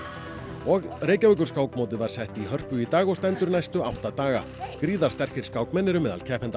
og Reykjavíkurskákmótið var sett í Hörpu í dag og stendur næstu átta daga gríðarsterkir skákmenn eru meðal keppenda